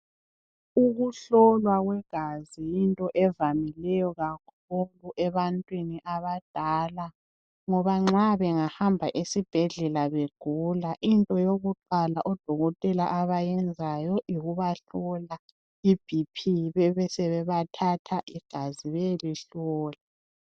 Ukuhlolwa kwegazi yinto evamileyo kakhulu ebantwini abadala ngoba nxa bengahamba esibhedlela begula into yokuqala odokotela abayenzayo yikubabahlola iBP besebethatha igazi beyelihlola.